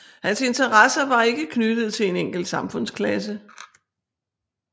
Hans interesser var ikke knyttede til en enkelt samfundsklasse